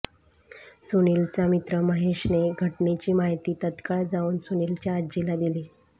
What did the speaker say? सुनीलचा मित्र महेशने घटनेची माहिती तत्काळ जाऊन सुनीलच्या आजीला दिली